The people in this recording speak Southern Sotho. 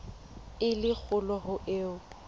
e le kgolo ho eo